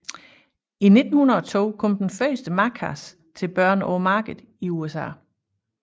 I 1902 kom den første madkasse til børn på markedet i USA